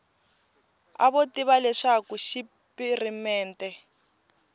a vo tiva leswaku xipirimente